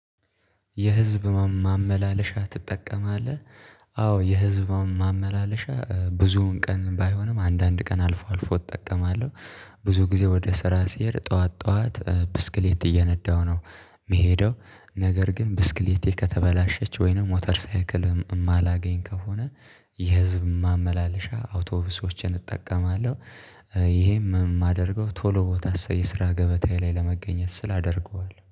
የህዝብ ማመላለሻ ትጠቀማለህ? አዎ የህዝብ ማመላለሻ ብዙውን ቀን ባይሆንም አንዳንድ ቀን አልፎ አልፎ እጠቀማለሁ። ብዙ ጊዜ ወደ ስራ ሲሄድ ጠዋት ጠዋት ብስክሌት እየነዳሁ ነው። ምሄደው ነገር ግን ብስክሌቴ ከተበላሸች ወይንም ሞተር ሳይክል ማላገኝ ከሆነ የህዝብ ማመላለሻ አውቶቡሶችን እጠቀማለሁ። ይሄም ማደርገው ቶሎ ቦታ የስራ ገበታዬ ላይ ለመገኘት ስል አደርገዋለሁ